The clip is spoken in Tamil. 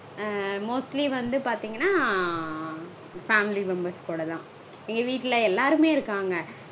ஆஹ் mostly வந்து பாத்தீங்கனா family members கூடதா. எங்க வீட்ல எல்லாருமே இருக்காங்க.